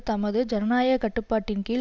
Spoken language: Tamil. தமது ஜனநாயக கட்டுப்பாட்டின் கீழ்